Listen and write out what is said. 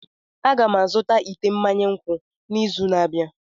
Aga m azụta ite mmanya nkwụ n'izu na-abịa.